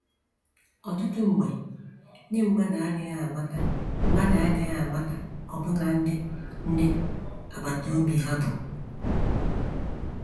Ọtụtụ mgbe, ndị mmadụ adịghị amata mmadụ adịghị amata ọbụna ndị ndị agbata obi ha bụ.